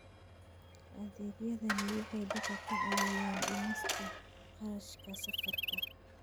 Adeegyadani waxay dadka ka caawiyaan dhimista kharashka safarka.